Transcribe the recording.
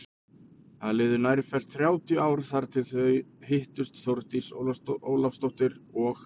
Það liðu nærfellt þrjátíu ár þar til þau hittust Þórdís Ólafsdóttir og